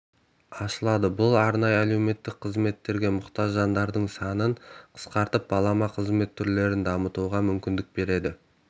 ашылады бұл арнайы әлеуметтік қызметтерге мұқтаж жандардың санын қысқартып балама қызмет түрлерін дамытуға мүмкіндік береді